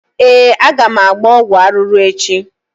Ee, aga m agba ọgwụ arụrụ echi.